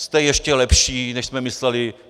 Jste ještě lepší, než jsme mysleli!